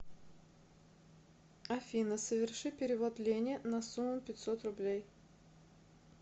афина соверши перевод лене на сумму пятьсот рублей